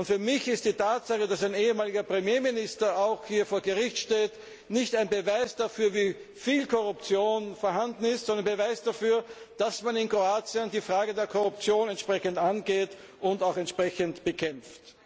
Für mich ist die Tatsache, dass ein ehemaliger Premierminister vor Gericht steht, nicht ein Beweis dafür, wie viel Korruption vorhanden ist, sondern ein Beweis dafür, dass man in Kroatien die Frage der Korruption entsprechend angeht und auch entsprechend bekämpft.